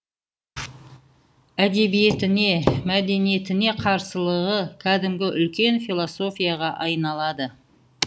әдебиетіне мәдениетіне қарсылығы кәдімгі үлкен философияға айналады